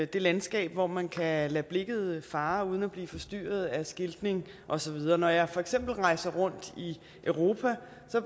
det landskab hvor man kan lade lade blikket fare uden at blive forstyrret af skiltning og så videre når jeg for eksempel rejser rundt i europa